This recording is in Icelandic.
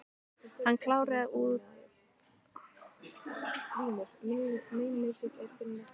Hann kláraði úr bjórglasinu, stóð upp og stikaði að barnum.